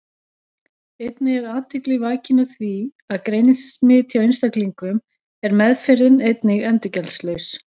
Einnig er athygli vakin á því að greinist smit hjá einstaklingum er meðferðin einnig endurgjaldslaus.